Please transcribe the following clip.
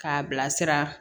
K'a bilasira